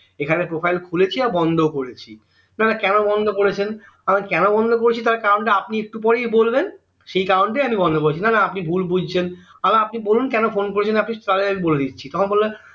এখানে profile খুলেছি আবার বন্দ করেছি নানা কেন বন্দ করেছেন আমি কেন বন্দ করেছি তার কারণ টা আপনি একটু পরেই বলবেন সেই কারণটাই আমি বন্দ করেছি নান আপনি ভুল বুঝছেন আগে আপনি বলুন কেন phone করেছেন তাহলে বলেদিচ্ছি তখন বললো